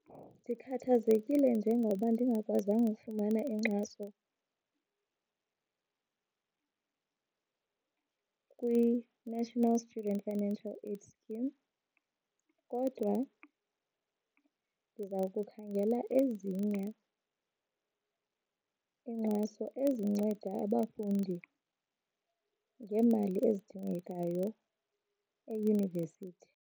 Ndikhathazekile njengoba ndingakwazanga ufumana inkxaso kwiNational Student Financial Aid Scheme kodwa ndiza kukhangela ezinye iinkxaso ezinceda abafundi ngeemali ezidingekayo eyunivesithi.